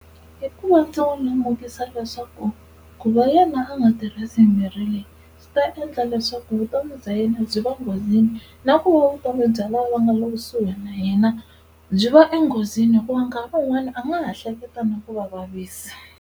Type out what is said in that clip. I ku va ndzi n'wi lemukisa leswaku ku va yena a nga tirhisi mirhi leyi swi ta endla leswaku vutomi bya yena byi va enghozini, na ku va vutomi bya lava nga le kusuhi na yena byi va enghozini hikuva nkarhi wun'wani a nga ha hleketa na ku va vavisa.